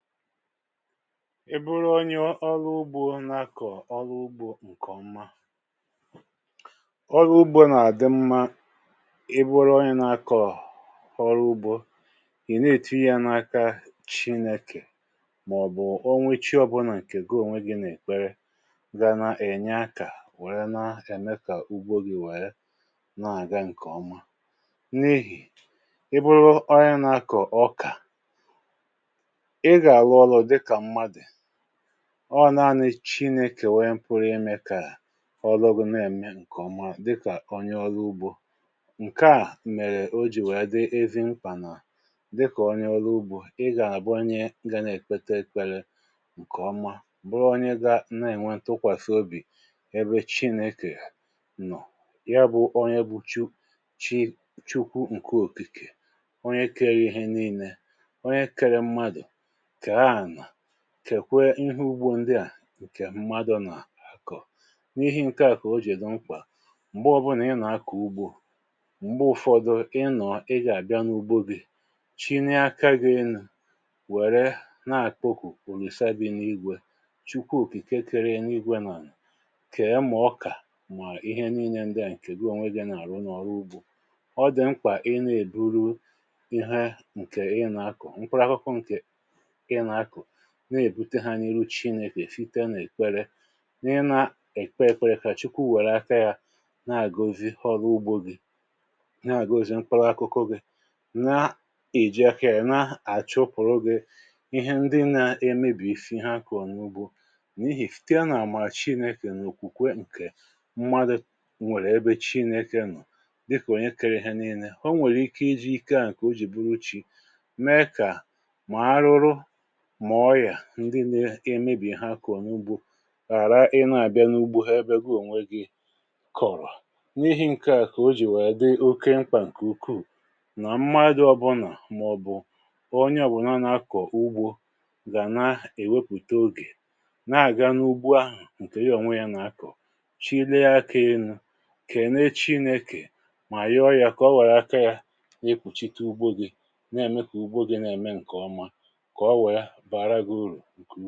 Ị buru onye ọrụ ugbȯ nà-akọ̀ ọrụ ugbȯ ǹkè ọma, ọrụ ugbȯ nà-àdị mmȧ i buru onye nà-akọ̀ ọrụ ugbȯ, ị̀ na-èti ya n’aka chinėkè màọ̀bụ̀ ọ nwe chi ọbụnà ǹkè gi onwe gị nà-èkpere ga na-ènye akȧ wère na-eme kà ugbȯ gị wère na-àga ǹkèọma, n’ihì ibu̇rù onye nà-akọ̀ ọkà, oga-arụ ọrụ dịka mmadụ, ọ naanị̇ chinėkè wu pụrụ imė kà ọlụ ghọ na-ème ǹkè ọma dịkà onye ọrụ ugbȯ. Nke à mèrè o jì wèe dị ezi mkpà nà dịkà onye ọrụ ugbȯ ị gà-àbụ onye ga na-èkpeta ekpere ǹkèọma bụrụ onye gȧ na-ènwe ntụkwàsị obì ebe chinėkè nọ, ya bụ onye bụ chu chi chukwu ǹkè òkike onye kere ihe ninne, onye kere mmadụ, kee ana, kekwe ihe ugbo ndị à ǹkè mmadụ nà akọ, n’ihi ǹkeà kà o jì di mkpà m̀gbe ọbụnà ị nà akọ̀ ugbo m̀gbe ụfọdụ ị nọ̀o, ị gà àbịa n’ugbo gị̇ chinėe aka gị enu wère nà àkpokụ olusa bụ n’igwė, chukwu okike kere eligwė nà ànà, kee ma oka mà ihe nile ndị à ǹkè gi onwe gị̇ nà àrụ n’ọrụ ugbȯ. ọ dị̀ mkpà ị na-èburu ihe ahụ ǹkè ị nà akọ̀, mkpụruȧkụkụ ǹkè ịna-akọ na-èbute ha ninne n’ihu chinėkè sita nà èkpere, n’ịnȧ èkpe ekpere kà chukwu wèrè aka yȧ na-àgọzi ọru ugbȯ gị, na-àgọzi mkpụrụ akụkụ gị, n'eji aka yana-achupuru gị ihe ndi na-emebìsi ihe akoro n’ugbȯ, n’ihì na sìta na-àmàra chinėkè nà òkwùkwe ǹkè mmadụ̀ nwèrè ebe chinėkè nọ̀ dịkà ònye kere ihe nínnė o nwèrè ike iji̇ ike à ǹkè o jì bụrụ chi̇ mee kà mà arụrụ mà ọyà ndi n’imebì ihe akọro n’ugbo ghàra ị na-àbịa n’ugbo ebe gi ònwe gi kọ̀rọ̀. N’ihe ǹke à kà o jì wèe dị oke mkpà ǹkè ukwuù nà mmadụ̀ ọbụlà màọ̀bụ̀ onye obụ̀na nà-akọ̀ ugbo gà na-èwepùte ogè na-àga n’ugbo ahụ̀ ǹkè ya ònwe ya nà-akọ̀ chilea aka kene chinekè mà yoo yà kà o wèrè aka ya n’ekpùchite ugbo gì na-ème kà ugbo gì na-ème ǹkè ọma, ka ọ wee bara gị ụrụ.